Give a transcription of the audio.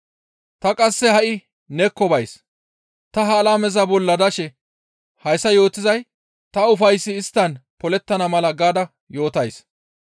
Ta qasse ha7i neekko bays; ta ha alameza bolla dashe hayssa yootizay ta ufayssi isttan polettana mala gaada yootays.